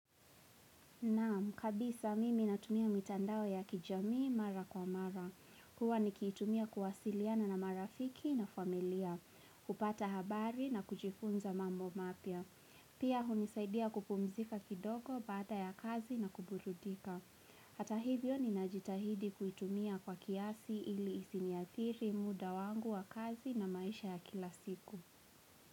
Naam, kabisa mimi natumia mitandao ya kijamii mara kwa mara. Huwa nikiitumia kuwasiliana na marafiki na familia, kupata habari na kujifunza mambo mapya. Pia hunisaidia kupumzika kidogo baada ya kazi na kuburudika. Hata hivyo ninajitahidi kuitumia kwa kiasi ili isiniathiri muda wangu wa kazi na maisha ya kila siku.